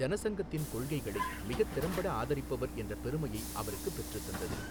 ஜனசங்கத்தின் கொள்கைகளை மிகத் திறம்பட ஆதரிப்பவர் என்ற பெருமையை அவருக்குப் பெற்றுத் தந்தது.